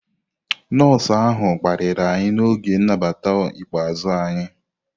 Nọọsụ ahụ kparịrị anyị n'oge nnabata ikpeazụ anyị.